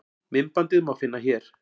myndbandið má finna hér